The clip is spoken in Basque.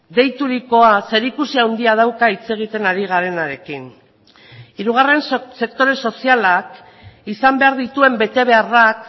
deiturikoa zerikusi handia dauka hitz egiten ari garenarekin hirugarren sektore sozialak izan behar dituen betebeharrak